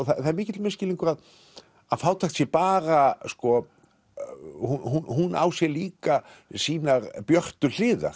það er mikill misskilningur að fátækt sé bara hún á sér líka sínar björtu hliðar